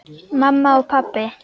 Mamma og pabbi.